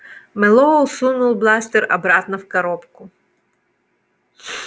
мэллоу сунул бластер обратно в коробку